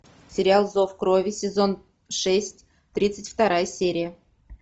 сериал зов крови сезон шесть тридцать вторая серия